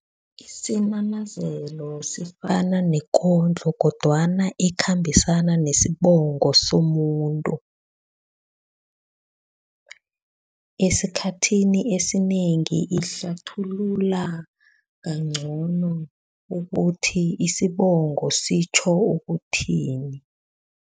Isinanazelo sifana nekondlo kodwana ekhambisana nesibongo somuntu. Esikhathini esinengi ihlathulula kangcono ukuthi isibongo sitjho ukuthini.